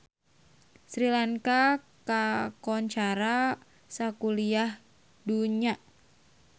Sri Lanka kakoncara sakuliah dunya